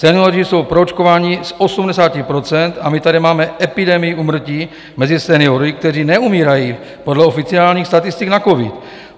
Senioři jsou proočkováni z 80 % a my tady máme epidemii úmrtí mezi seniory, kteří neumírají podle oficiálních statistik na covid.